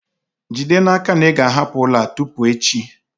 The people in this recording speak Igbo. Jide n'aka na ị ga-ahapụ ụlọ a tupu echi!